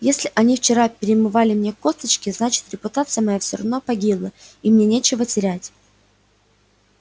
если они вчера перемывали мне косточки значит репутация моя все равно погибла и мне нечего терять